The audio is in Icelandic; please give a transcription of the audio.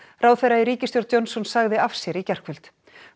ráðherra í ríkisstjórn Johnsons sagði af sér í gærkvöld